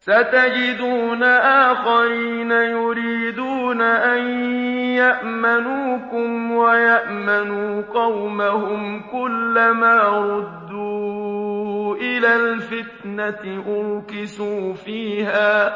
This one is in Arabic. سَتَجِدُونَ آخَرِينَ يُرِيدُونَ أَن يَأْمَنُوكُمْ وَيَأْمَنُوا قَوْمَهُمْ كُلَّ مَا رُدُّوا إِلَى الْفِتْنَةِ أُرْكِسُوا فِيهَا ۚ